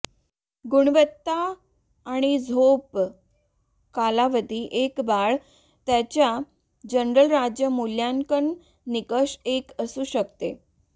गुणवत्ता आणि झोप कालावधी एक बाळ त्याच्या जनरल राज्य मूल्यांकन निकष एक असू शकते